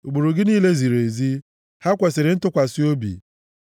Ụkpụrụ gị niile ziri ezi; ha kwesiri ntụkwasị obi.